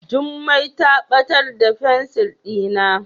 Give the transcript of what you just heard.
Jummai ta batar da fensir dina.